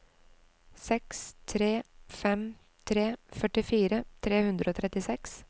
seks tre fem tre førtifire tre hundre og trettiseks